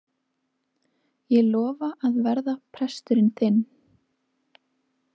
Ég lofa að verða presturinn þinn.